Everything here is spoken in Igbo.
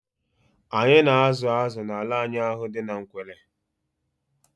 Anyị na azụ azụ n'ala anyị ahụ dị n'Nkwelle